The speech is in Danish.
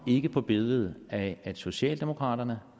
ikke på billedet af at socialdemokraterne